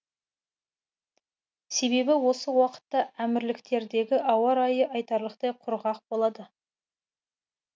себебі осы уақытта әмірліктердегі ауа райы айтарлықтай құрғақ болады